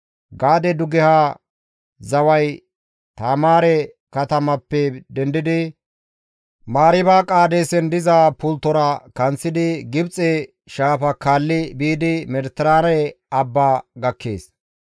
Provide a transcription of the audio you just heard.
Gaade dugeha zaway Taamaare katamappe dendidi, Mariiba Qaadeesen diza pulttozara kanththidi, Gibxe Shaafa kaalli biidi Mediteraane Abba gakkees.